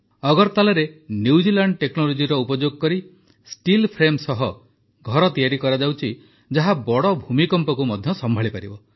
ଅଗରତାଲାରେ New Zealand ଟେକ୍ନୋଲୋଜିର ଉପଯୋଗ କରି ଷ୍ଟିଲ୍ଫ୍ରେମ୍ ସହ ଘର ତିଆରି କରାଯାଉଛି ଯାହା ବଡ଼ ଭୂମିକମ୍ପକୁ ମଧ୍ୟ ସମ୍ଭାଳିପାରିବ